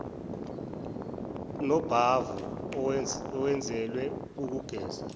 nobhavu owenzelwe ukugeza